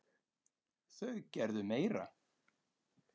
Þau gerðu meira.